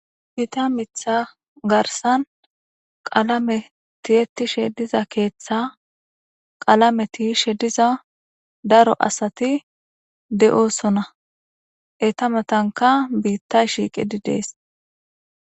Ita mitha garsan qalame tiyettishe diza keeththa qalame tiishe diza daro asati de7oosona eta matanka biittay shiiqidi dees